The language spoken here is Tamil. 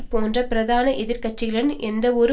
போன்ற பிரதான எதிர் கட்சிகளிடம் எந்தவொரு